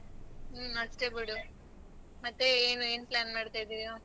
ಹ್ಮ ಅಷ್ಟೆ ಬಿಡು. ಮತ್ತೆ ಏನೂ ಏನ್ plan ಮಾಡ್ತಿದೀಯಾ?